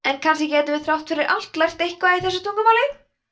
en kannski gætum við þrátt fyrir allt lært eitthvað í þessu tungumáli